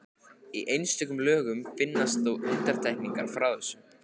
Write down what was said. Í einstökum lögum finnast þó undantekningar frá þessu.